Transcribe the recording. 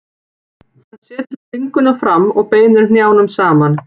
Hann setur bringuna fram og beinir hnjánum saman.